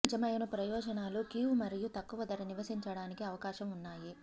ఈ నిజమైన ప్రయోజనాలు కీవ్ మరియు తక్కువ ధర నివసించడానికి అవకాశం ఉన్నాయి